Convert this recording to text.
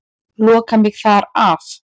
Loka mig þar af.